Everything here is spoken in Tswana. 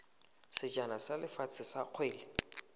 sejana sa lefatshe sa kgwele